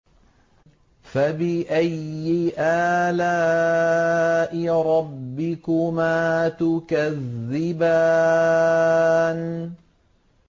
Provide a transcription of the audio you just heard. فَبِأَيِّ آلَاءِ رَبِّكُمَا تُكَذِّبَانِ